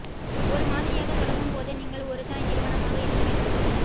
ஒரு மாதிரியாகத் தொடங்கும் போது நீங்கள் ஒரு தாய் நிறுவனமாக இருக்க வேண்டும்